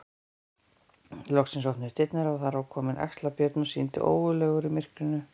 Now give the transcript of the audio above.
Loks opnuðust dyrnar og var þar kominn Axlar-Björn og sýndist ógurlegur í myrkrinu.